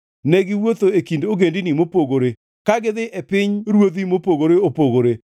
ne giwuotho e kind ogendini mopogore, ka gidhi e pinyruodhi mopogore opogore.